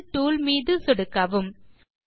angle tool மீது சொடுக்கவும்